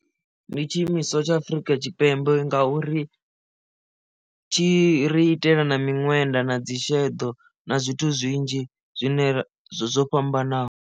Ndi tshi imiswa tsha Afurika Tshipembe ngauri tshi ri itela na miṅwenda na dzi sheḓo na zwithu zwinzhi zwine zwo fhambanaho.